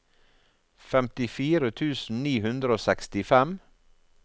femtifire tusen ni hundre og sekstifem